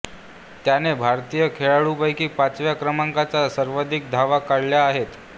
त्याने भारतीय खेळाडूंपैकी पाचव्या क्रमांकाच्या सर्वाधिक धावा काढल्या आहेत